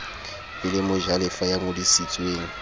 e le mojalefa ya ngodisitsweng